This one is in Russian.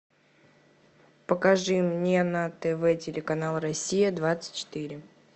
покажи мне на тв телеканал россия двадцать четыре